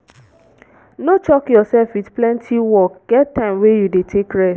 no choke yourself with plenty work get time wey you de take rest